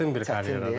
Çətin bir karyeradır.